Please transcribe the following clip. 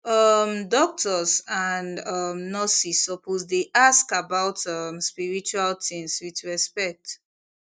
um doctors and um nurses suppose dey ask about um spiritual things with respect